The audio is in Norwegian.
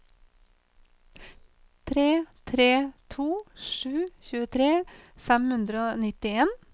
tre tre to sju tjuetre fem hundre og nittien